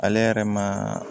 Ale yɛrɛ ma